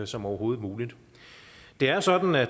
som overhovedet muligt det er sådan at